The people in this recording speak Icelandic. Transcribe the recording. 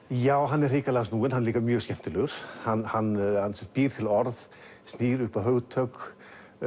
já hann er hrikalega snúinn hann er líka mjög skemmtilegur hann hann býr til orð snýr upp á hugtök